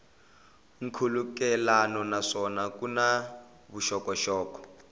nkhulukelano naswona ku na vuxokoxoko